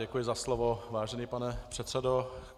Děkuji za slovo, vážený pane předsedo.